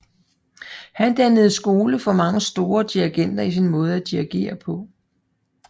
Han dannede skole for mange store dirigenter i sin måde at dirigere på